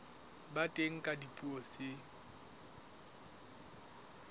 ba teng ka dipuo tse